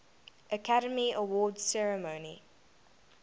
academy awards ceremony